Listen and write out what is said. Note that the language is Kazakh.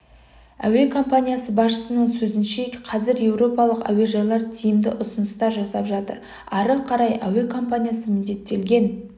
әуе компаниясы басшысының сөзінше қазір еуропалық әуежайлар тиімді ұсыныстар жасап жатыр ары қарай әуе компаниясы міндеттелген